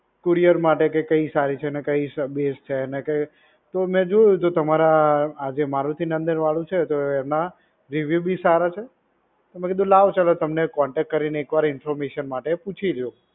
Courier માટે કે કઈ સારી છે ને, કઈ બેસ્ટ છે અને કે તો મે જોયુ તો તમારા આ જે મારુતિનંદનવાળુ છે તો એમા review બી સારા છે. તો મે કીધુ લાવો ચાલો તમને contact કરીને એકવાર ઇન્ફોર્મેશન માટે પૂછી જોવ.